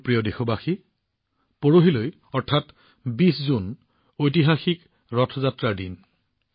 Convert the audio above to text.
মোৰ প্ৰিয় দেশবাসী কাইলৈ অৰ্থাৎ ২০ জুন তাৰিখৰ পিছদিনা ঐতিহাসিক ৰথ যাত্ৰাৰ দিন